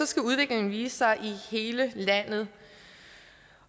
skal udviklingen vise sig i hele landet